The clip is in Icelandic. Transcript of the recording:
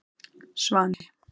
Svani